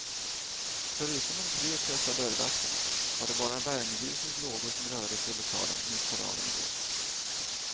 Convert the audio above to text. Förutom de tre trötta dörrvakterna var det bara värmeljusens lågor som rörde sig i lokalen mitt på dagen igår.